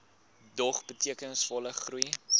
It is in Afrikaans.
dog betekenisvolle groei